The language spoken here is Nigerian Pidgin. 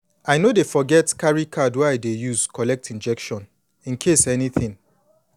i no dey forget carry card wey i dey use collect injection incase anything